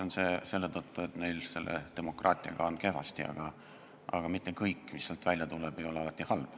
Neil on demokraatiaga kehvasti, aga mitte kõik, mis sealt välja tuleb, ei ole alati halb.